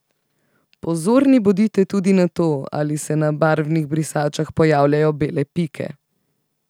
Pozorni bodite tudi na to, ali se na barvnih brisačah pojavljajo bele pike.